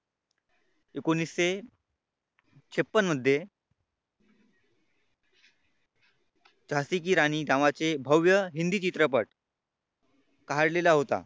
एकोणीशे छप्पन्न मध्ये झाशी की राणी नावाचे भव्य हिंदी चित्रपट काढलेला होता.